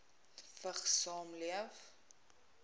vigs saamleef